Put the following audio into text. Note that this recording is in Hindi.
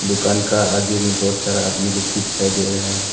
दुकान का आगे में बहुत सारा आदमी लोग भी दिखाई दे रहा है।